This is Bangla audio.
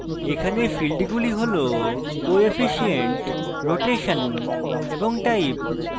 এখানে ফীল্ডগুলি হলcoefficient rotation এবং type